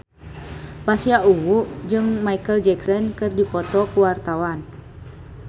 Pasha Ungu jeung Micheal Jackson keur dipoto ku wartawan